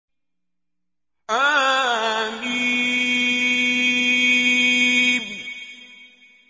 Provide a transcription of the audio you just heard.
حم